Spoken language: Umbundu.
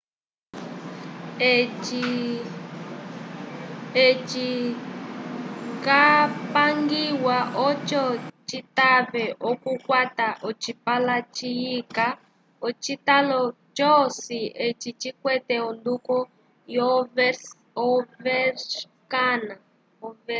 eci capangiwa oco citave okukwata ocipala ciyika ocitalo c'osi eci cikwete onduko yo overscan